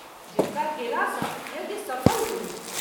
जिनका गेला सँ यज्ञ सफल होइछ।